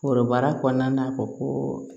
Foroba kɔnɔna na koo